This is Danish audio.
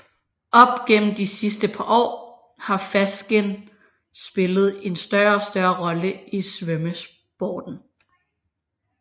Op gennem de sidste par år har fastskin spillet en større og større rolle i svømmesporten